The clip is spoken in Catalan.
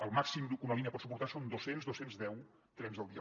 el màxim que una línia pot suportar són dos cents dos cents i deu trens al dia